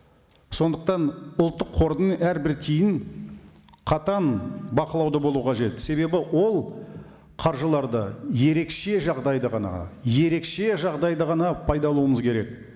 сондықтан ұлттық қордың әрбір тиынын қатаң бақылауда болу қажет себебі ол қаржыларды ерекше жағдайда ғана ерекше жағдайда ғана керек